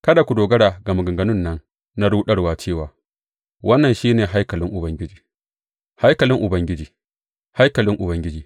Kada ku dogara ga maganganun nan na ruɗarwa cewa, Wannan shi ne haikalin Ubangiji, haikalin Ubangiji, haikalin Ubangiji!